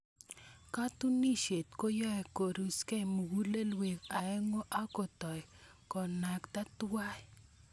Katunisyet koyoe korusgei mugulelweek aeng'u ak kotoi konakta tuwai.